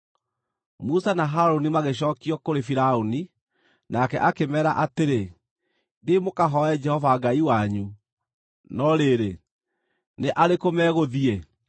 Musa na Harũni magĩcookio kũrĩ Firaũni. Nake akĩmeera atĩrĩ, “Thiĩi mũkahooe Jehova Ngai wanyu; no rĩrĩ, nĩ arĩkũ megũthiĩ?”